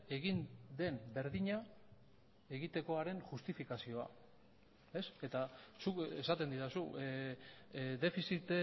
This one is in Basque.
egin den berdina egitekoaren justifikazioa eta zuk esaten didazu defizit